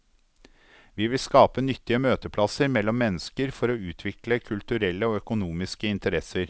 Vi vil skape nyttige møteplasser mellom mennesker for å utvikle kulturelle og økonomiske interesser.